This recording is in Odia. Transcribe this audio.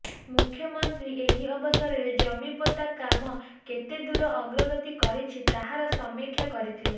ମୁଖ୍ୟମନ୍ତ୍ରୀ ଏହି ଅବସରରେ ଜମି ପୋତା କାମ କେତେଦୂର ଅଗ୍ରଗତି କରିଛି ତାହାର ସମୀକ୍ଷା କରିଥିଲେ